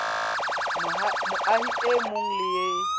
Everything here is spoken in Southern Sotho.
moahi e mong le e